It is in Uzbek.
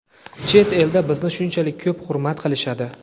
chet elda bizni shunchalik ko‘p hurmat qilishadi.